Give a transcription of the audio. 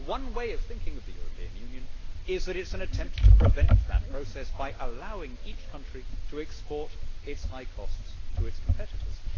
One way of thinking of the European Union is that it is an attempt to prevent that process by allowing each country to export its high costs to its competitors.